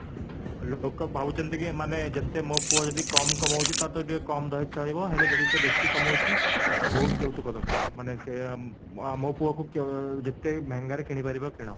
ଲୋକ ଭାବୁଛନ୍ତି କି ଏମାନେ ଯେତେ ମୋ ପୁଅ ଯଦି କମ କମୋଉଛି ତ କମ ଚଳିବ ହେଲେ ଯଦି ସେ ବେଶୀ କମୋଉଛି ତ ବହୁତ ଯୌତୁକ ଦରକାର ମାନେ ସେ ମୋ ପୁଅ କୁ ଯେତେ ମେହେଙ୍ଗାରେ କିଣି ପାରିବ କିଣ